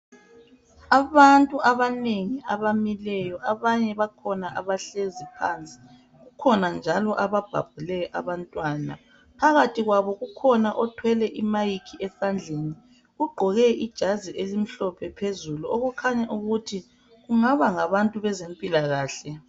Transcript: Abantu abanengi abamileyo abanye bakhona abahlezi phansi kukhona njalo ababhabhule abantwana phakathi kwabo kukhona othwele I mayikhi esandleni ugqoke ijazi elimhlophe phezulu okukhanya ukuthi bangaba ngabantu bezempilakahle.